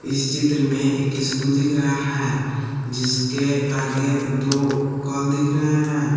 इस चित्र में एक स्कूल दिख रहा है जिसके आगे दो कल दिख रहे हैं।